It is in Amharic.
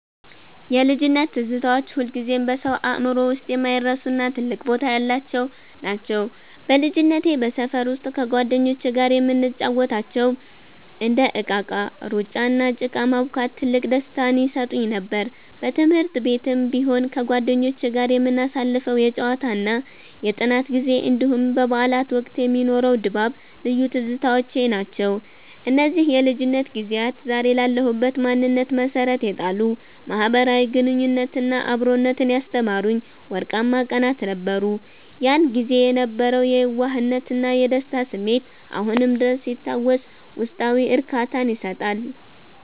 የልጅነት ትዝታዎች ሁልጊዜም በሰው አእምሮ ውስጥ የማይረሱና ትልቅ ቦታ ያላቸው ናቸው። በልጅነቴ በሰፈር ውስጥ ከጓደኞቼ ጋር የምንጫወታቸው እንደ እቃቃ፣ ሩጫ፣ እና ጭቃ ማቡካት ትልቅ ደስታን ይሰጡኝ ነበር። በትምህርት ቤትም ቢሆን ከጓደኞቼ ጋር የምናሳልፈው የጨዋታና የጥናት ጊዜ፣ እንዲሁም በበዓላት ወቅት የሚኖረው ድባብ ልዩ ትዝታዎቼ ናቸው። እነዚህ የልጅነት ጊዜያት ዛሬ ላለሁበት ማንነት መሠረት የጣሉ፣ ማኅበራዊ ግንኙነትንና አብሮነትን ያስተማሩኝ ወርቃማ ቀናት ነበሩ። ያን ጊዜ የነበረው የየዋህነትና የደስታ ስሜት አሁንም ድረስ ሲታወስ ውስጣዊ እርካታን ይሰጣል።